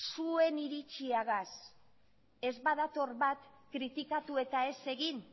zuen iritziagaz ez badator bat kritikatu eta ez egin